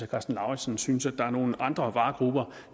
karsten lauritzen synes der er nogle andre varegrupper